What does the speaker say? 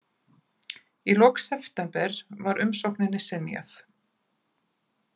Í lok september var umsókninni synjað